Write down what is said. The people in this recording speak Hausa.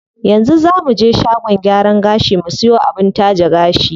Yanzu zaa muje shagon gyaran gashi mu siyo abin taje gashi.